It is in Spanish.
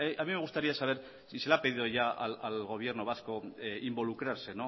a mí me gustaría saber si se le ha pedido ya al gobierno vasco involucrarse